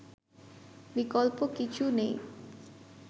বিকল্প কিছু নেই